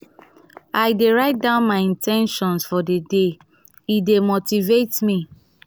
i dey write down my in ten tions for the day; e dey motivate me.